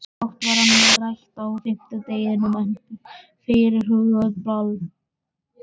Um fátt var annað rætt á fimmtudeginum en fyrirhugað ball.